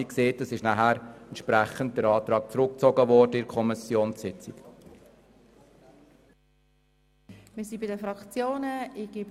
Wie gesagt, in der Kommission wurde der Antrag dementsprechend zurückgezogen.